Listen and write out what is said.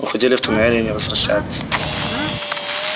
уходили в туннели и не возвращались